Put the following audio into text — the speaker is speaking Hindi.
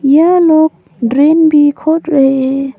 यह लोग ड्रेन भी खोज रहे है।